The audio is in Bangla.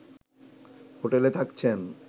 হোটেলে থাকছেন